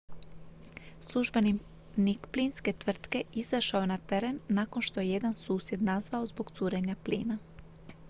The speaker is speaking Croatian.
službenik plinske tvrtke izašao je na teren nakon što je jedan susjed nazvao zbog curenja plina